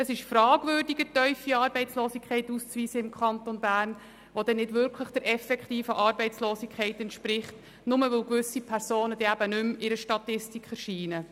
Es ist fragwürdig, eine tiefe Arbeitslosigkeit im Kanton Bern auszuweisen, die nicht wirklich der effektiven Arbeitslosigkeit entspricht, weil gewisse Personen nicht mehr in einer Statistik erscheinen.